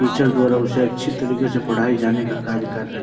teacher द्वारा उसे अच्छी तरीके से पढ़ाये जाने का कार्य कर रहे --